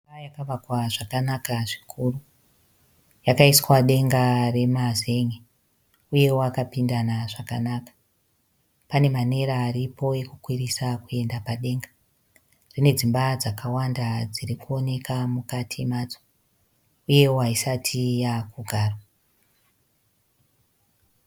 Imba yakavakwa zvakanaka zvikuru. Yakaiswa denga remazen'e . Uyewo akapindana zvakanaka. Pane manera aripo ekukwirisa kuenda padenga. Ine dzimba dzakawanda dziri kuoneka mukati madzo uyewo haisati yakugarwa.